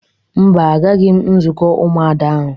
Mba, agaghị m nzukọ Ụmụada ahụ.